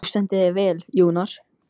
Þú stendur þig vel, Jónar!